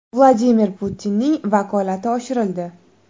Vladimir Putinning vakolati oshirildi.